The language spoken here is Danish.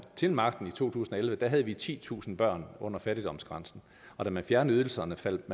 til magten i to tusind og elleve havde vi titusind børn under fattigdomsgrænsen og da man fjernede ydelserne faldt